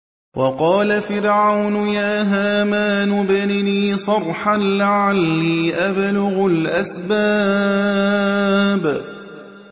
وَقَالَ فِرْعَوْنُ يَا هَامَانُ ابْنِ لِي صَرْحًا لَّعَلِّي أَبْلُغُ الْأَسْبَابَ